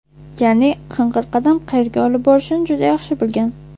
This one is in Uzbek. Ya’ni, qing‘ir qadam qayerga olib borishini juda yaxshi bilgan.